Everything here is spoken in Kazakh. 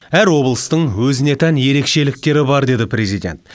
әр облыстың өзіне тән ерекшеліктері бар деді президент